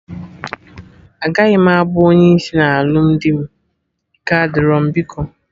Agaghị m abụ onye isi na alụmdi m, ike adịro m biko